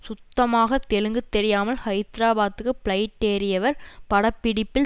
சுத்தமாக தெலுங்கு தெரியாமல் ஹைதராபாத்துக்கு பிளைட் ஏறியவர் பட பிடிப்பில்